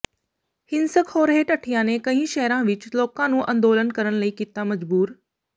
ਹਿੰਸਕ ਹੋ ਰਹੇ ਢੱਠਿਆਂ ਨੇ ਕਈ ਸ਼ਹਿਰਾਂ ਵਿੱਚ ਲੋਕਾਂ ਨੂੰ ਅੰਦੋਲਨ ਕਰਨ ਲਈ ਕੀਤਾ ਮਜਬੂਰ